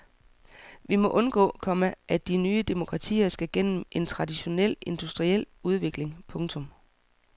Vi må undgå, komma at de nye demokratier skal gennem en traditionel industriel udvikling. punktum